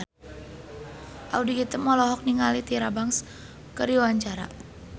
Audy Item olohok ningali Tyra Banks keur diwawancara